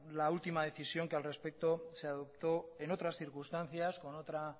la última decisión que al respecto se adoptó en otras circunstancias con otra